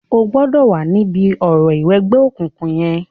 O gbọ̀dọ̀ wá níbi orò ìwẹgbẹ́ okùnkùn yẹn.